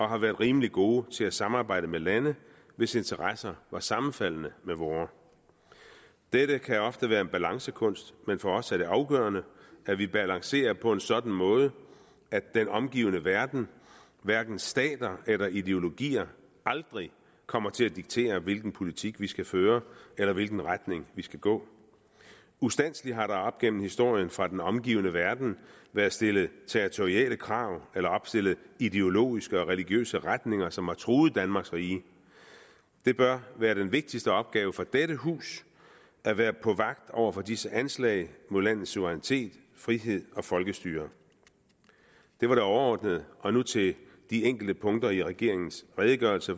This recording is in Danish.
har været rimelig gode til at samarbejde med lande hvis interesser var sammenfaldende med vores dette kan ofte være en balancekunst men for os er det afgørende at vi balancerer på en sådan måde at den omgivende verden hverken stater eller ideologier aldrig kommer til at diktere hvilken politik vi skal føre eller i hvilken retning vi skal gå ustandselig har der op gennem historien fra den omgivende verden været stillet territoriale krav eller opstillet ideologiske og religiøse retninger som har truet danmarks rige det bør være den vigtigste opgave for dette hus at være på vagt over for disse anslag mod landets suverænitet frihed og folkestyre det var det overordnede og nu til de enkelte punkter i regeringens redegørelse